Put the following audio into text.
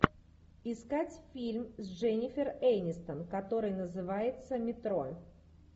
искать фильм с дженнифер энистон который называется метро